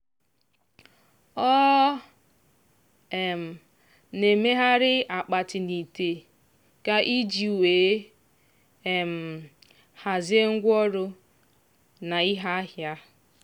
ọ um na-emegharị akpati na ite ga iji wee um hazie ngwaọrụ na ihe ahịa.